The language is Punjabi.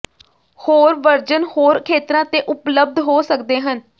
ਹੋਰ ਵਰਜਨ ਹੋਰ ਖੇਤਰਾਂ ਤੇ ਉਪਲਬਧ ਹੋ ਸਕਦੇ ਹਨ